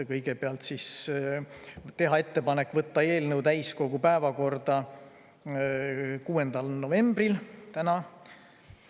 Kõigepealt, teha ettepanek võtta eelnõu täiskogu päevakorda 6. novembril, täna.